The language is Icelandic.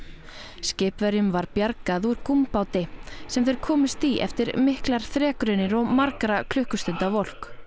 skipverjum var bjargað úr sem þeir komust í eftir miklar þrekraunir og margra klukkustunda volk